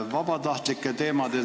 Hea minister!